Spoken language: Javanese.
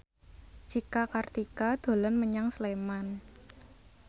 Cika Kartika dolan menyang Sleman